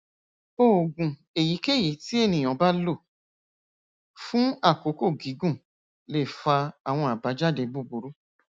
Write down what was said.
oògùn èyíkéyìí tí ènìyàn bá lò fún àkókò gígùn lè fa àwọn àbájáde búburú